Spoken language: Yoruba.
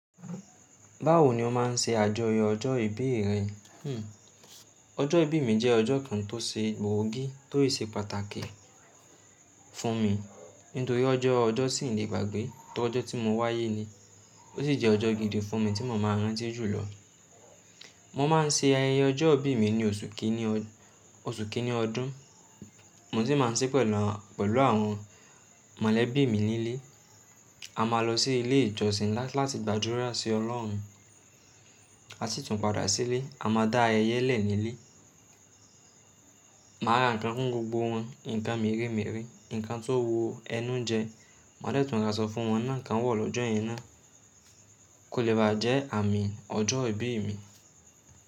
Báwo ni o má n se àjọyọ̀ ọjọ́ ìbí rẹ? Hhm ọjọ́ ìbí mi jẹ́ ọjọ́ kan tó ṣe gbòógì tó ì ṣe pàtàkì fún mi. Nítorí ọjọ́, ọjọ́ sì n lè gbàgbé torí ọjọ́ tí mo wáyé ni. Ó sì jẹ́ ọjọ́ gidi fún mi tí mo máa rántí jùlọ. Mo má n se ayẹyẹ ọjọ́ ìbí mi ní oṣù kìíní, oṣù kìíní ọdún. Mo sì má n sí pẹ̀lú, pẹ̀lú àwọn mọ̀lẹ́bí mi nílé. A máa lọ sí ilé ìjọsìn la láti gbàdúrà sí Ọlọ́run. A sì tún padà sílé, a má da ayẹyẹ lẹ̀ nílé. Màá ra ǹkan fún gbogbo wọn, ǹkan mere mere, ǹkan tóo ẹnu njẹ. Má dẹ̀tún rasọ fún wọn náà kan wọ̀ lọ́jọ́ yẹn ná. Kò lè bà á jẹ́ àmín ọjọ́ ìbí mi.